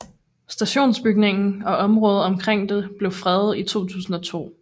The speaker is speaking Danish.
Stationsbygningen og området omkring det blev fredet i 2002